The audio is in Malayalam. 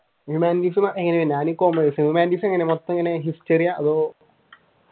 ഹ്യൂമാനിറ്റീസ് എങ്ങനെയാണ് ഞാൻ കോമേഴ്‌സ് ഹ്യുമാനിറ്റീസ് എങ്ങനെയാ മൊത്തം എങ്ങനെയാ ഹിസ്റ്ററി ആ അതോ?